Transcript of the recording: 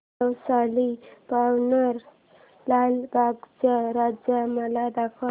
नवसाला पावणारा लालबागचा राजा मला दाखव